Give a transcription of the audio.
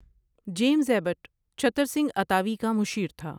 James Abbott Chattar Singh اتاوی کا مشیر تھا ۔